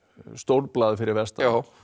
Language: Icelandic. stórblað fyrir vestan